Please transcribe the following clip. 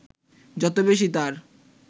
যত বেশী তার